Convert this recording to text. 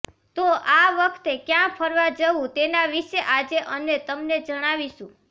તો આ વખતે ક્યા ફરવા જવુ તેના વિશે આજે અને તમને જણાવીશું